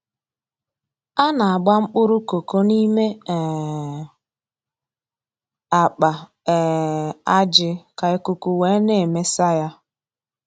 A na-agba mkpụrụ koko n'ime um akpa um ajị ka ikuku wee na-emesa ya